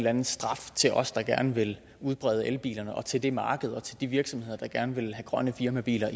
anden straf til os der gerne vil udbrede elbilerne og til det marked og til de virksomheder der gerne vil have grønne firmabiler